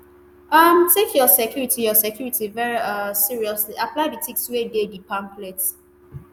um take your security your security very um seriously apply di tips wey dey di pamphlet